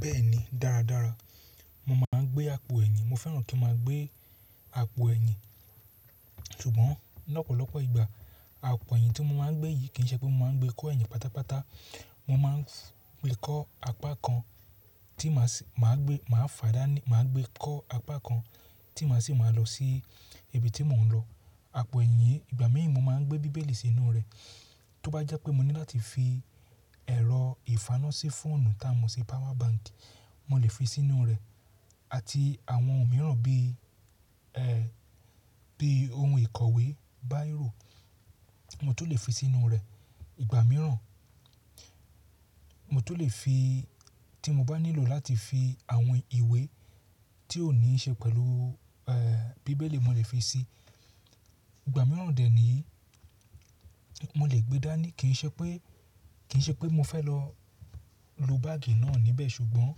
Bẹ́ẹ̀ni, dáradára. Mo máa ń gbé àpò ẹ̀yìn. Mo fẹ́ràn kí n máa gbé àpò ẹ̀yìn. Ṣùgbọ́n lọ́pọ̀lọpọ̀ ìgbà àpò ẹ̀yìn tí mo máa ń gbé yìí kì í ṣe pé mo máa ń gbé kó ẹ̀yìn pátápátá. Mo máa ń gbé kó apá kan tí màá gbé, màá fàdáni, màá gbé kó apá kan tí màá sì máa lọ sí ibi tí mò ń lọ. Àpò ẹ̀yìn ìgbà mí ì mo máa ń gbé bíbélì sínú rẹ̀. Tó bá jẹ́ pé mo ní láti fi ẹ̀rọ ìfaná sí fóònù táa mo ṣi power bank, mo lè fi sínú rẹ̀ àti àwọn ohun mìíràn bí, ẹ́, bí ohun ìkọ̀wé, báírò, mo tó lè fi sínú rẹ̀. Ìgbà mìíràn, mo tun lè fi tí mo bá nílò láti fi àwọn ìwé tí ó ní í ṣe pẹ̀lú, ẹ́, bíbélì mo lè fi sí i. Ìgbà mìíràn dè é ní mo lè gbe dá ní kì í ṣe pé, kì í ṣe pé mo fẹ́ lọ lo báàgì náà níbẹ̀ ṣùgbọ́n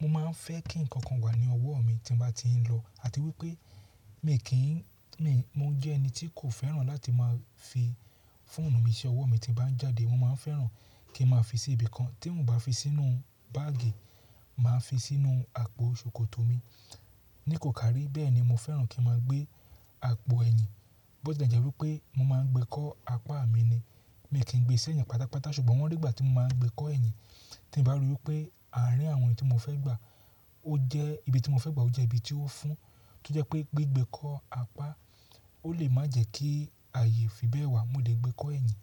mo máa ń fẹ́ kí nǹkan kan wà ní ọwọ́ mi tí mo bá ti ń lọ àti wípé mi kì í, mi, mo jẹ́ ẹni tí kò fẹ́ràn láti máa fi fóònù mi ṣẹ́ ọwọ́ mi tí mo bá ń jáde. Mo máa ń fẹ́ràn kí n máa fi sí ibi kan. Tí mò bá fi sínú báàgì, màá fi sínú àpò ṣòkòtò mi. Ní kò kàrí bẹ́ẹ̀ni mo fẹ́ràn kí n máa gbé àpò ẹ̀yìn. Bó ti e jẹ́ wípé mo máa ń gbé kó apá mi ni. Mi kì í gbé ṣ'ẹ̀yìn pátápátá ṣùgbọ́n ní ìgbà tí mo máa ń gbé kó ẹ̀yìn tí bá ri wípé àárín àwọn èní tí mo fẹ́ gbà ó jẹ́, ibi tí mo fẹ́ gbà ó jẹ́ ibi tí ó fún, tó jẹ́ pé gbé gbé kó apá ó lè má jẹ́ kí àyè fi bẹ́ẹ̀ wà mo lè gbé kó ẹ̀yìn.